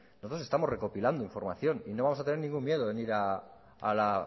nosotros estamos recopilando información y no vamos a tener ningún miedo en ir a la